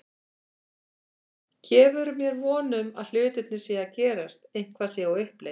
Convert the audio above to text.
Gefur mér von um að hlutirnir séu að gerast, eitthvað sé á uppleið.